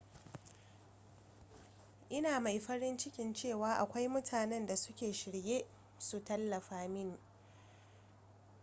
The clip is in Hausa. ina mai farin ciki cewa akwai mutanen da suke shirye su tallafa mini